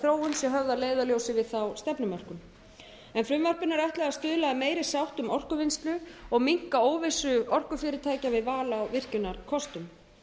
þróun sé höfð að leiðarljósi við þá stefnumörkun er frumvarpinu ætlað að stuðla að meiri sátt um orkuvinnslu og minnka óvissu orkufyrirtækja við val á virkjunarkostum